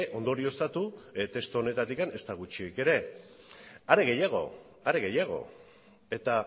ondorioztatu testu honetatik ezta gutxiagorik ere are gehiago are gehiago eta